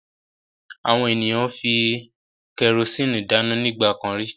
Àwọn ènìyàn fi kẹrósíínì dáná nígbà kan rí.